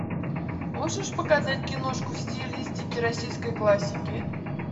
можешь показать киношку в стилистике российской классики